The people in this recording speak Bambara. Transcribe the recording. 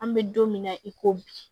An bɛ don min na i ko bi